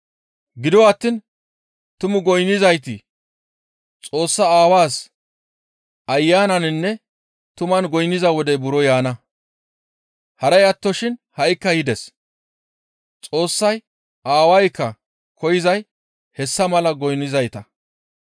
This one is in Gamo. Gido attiin tumu goynnizayti Xoossaa Aawaas Ayananinne tuman goynniza wodey buro yaana; haray attoshin ha7ikka yides. Xoossay aawaykka koyzay hessa mala goynnizayta.